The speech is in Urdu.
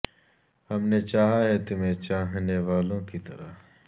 ہم نے چاہا ہے تمہیں چاہنے والوں کی طرح